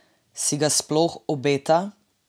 Si ga sploh obeta?